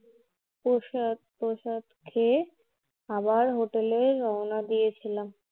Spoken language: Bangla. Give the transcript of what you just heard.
প্রসাদ টসাদ খেয়ে আবার Hotel এ রওনা দিয়েছিলাম